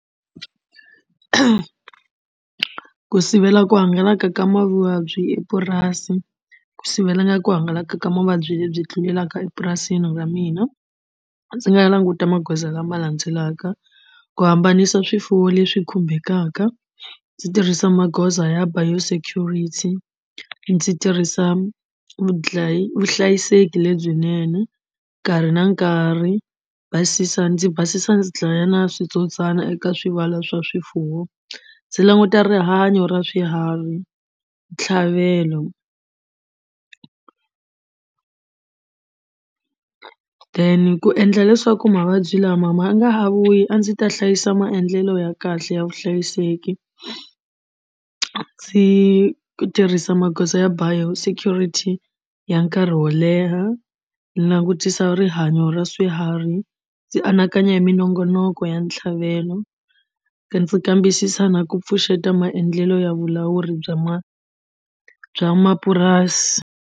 Ku sivela ku hangalaka ka mavabyi epurasi ku sivela ku hangalaka ka mavabyi lebyi tlulelaka epurasini ra mina ndzi nga languta magoza lama landzelaka ku hambanisa swifuwo leswi khumbekaka ndzi tirhisa magoza ya biosecurity ndzi tirhisa vuhlayiseki lebyinene nkarhi na nkarhi basisa ndzi basisa ndzi dlaya na switsotswana eka swivala swa swifuwo ndzi languta rihanyo ra swiharhi ntlhavelo then ku endla leswaku mavabyi lama ma nga ha vuyi a ndzi ta hlayisa maendlelo ya kahle ya vuhlayiseki. Ndzi tirhisa magoza ya biosecurity ya nkarhi wo leha ndzi langutisa rihanyo ra swiharhi ndzi anakanya hi minongonoko ya ntlhavelo ndzi kambisisa na ku pfuxeta maendlelo ya vulawuri bya ma bya mapurasi.